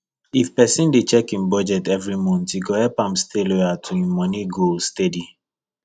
if person dey check im budget every month e go help am stay loyal to im money goals steady